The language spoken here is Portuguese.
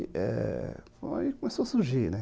E aí começou a surgir, né?